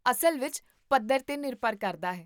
ਅਸਲ ਵਿੱਚ ਪੱਧਰ 'ਤੇ ਨਿਰਭਰ ਕਰਦਾ ਹੈ